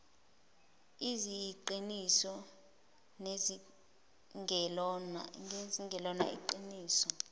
eziyiqiniso nezingelona iqiniso